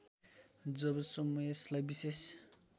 जबसम्म यसलाई विशेष